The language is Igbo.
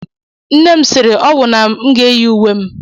Nne m siri ọnwụ na m ga-eyi uwe m.